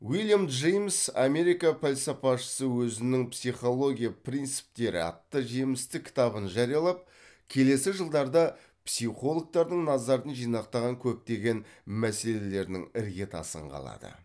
вильям джеймс америка пәлсапасышысы өзінің психология принциптері атты жемісті кітабын жариялап келесі жылдарда психологтардың назарын жинақтаған көптеген мәселелерінің іргетасын қалады